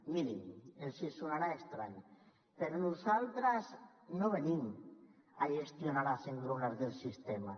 mirin els sonarà estrany però nosaltres no venim a gestionar les engrunes del sistema